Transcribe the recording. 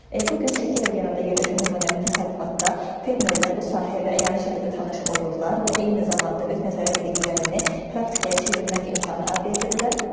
Bu gün Şəki regionunda yerləşən nümunəvi təsərrüfatda fermerlər bu sahə ilə əyani şəkildə tanış olurlar və eyni zamanda öz nəzəri biliklərini praktikaya çevirmək imkanı əldə edirlər.